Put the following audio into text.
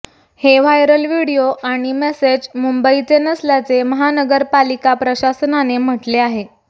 हे viral video आणि message मुंबईचे नसल्याचे महानगरपालिका प्रशासनाने म्हटले आहे